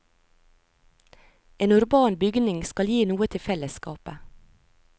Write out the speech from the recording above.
En urban bygning skal gi noe til fellesskapet.